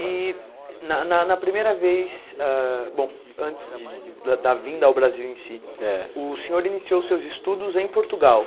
E na na na primeira vez ah, bom antes de da vinda ao Brasil em si, Eh O senhor iniciou seus estudos em Portugal.